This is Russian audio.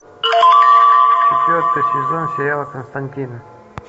четвертый сезон сериала константин